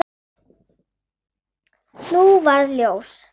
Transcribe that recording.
Nú varð ljós.